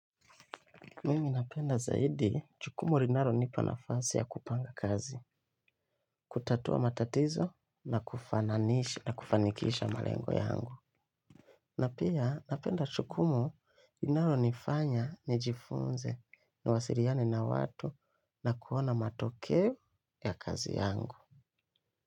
Mimi napenda zaidi jukumu linalo nipa nafasi ya kupanga kazi, kutatua matatizo na kufananisha na kufanikisha malengo yangu. Na pia napenda jukumu linalo nifanya nijifunze ni wasiliane na watu na kuona matokeo ya kazi yangu.